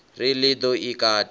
ri ḽi ḓo i kata